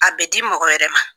A bɛ di mɔgɔ wɛrɛ ma.